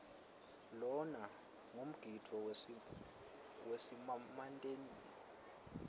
lona ngumgidvo wesimantemante